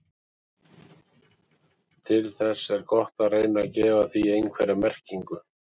Til þess er gott að reyna að gefa því einhverja merkingu.